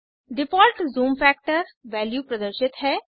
default zoom factor value प्रदर्शित है